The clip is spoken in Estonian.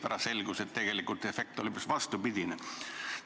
Pärast selgus, et tegelikult efekt oli hoopis vastupidine.